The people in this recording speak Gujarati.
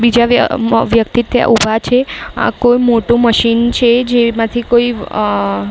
બીજા બે અ મ વ્યક્તિ ત્યાં ઉભા છે. આ કોઈ મોટું મશીન છે જેમાંથી કોઈ અ--